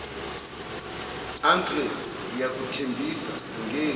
uncle ngiyakuthembisa angenzi